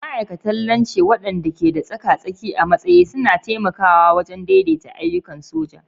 Ma'aikatan Lance, waɗanda ke tsaka-tsaki a matsayi, suna taimakawa wajen daidaita ayyukan soja.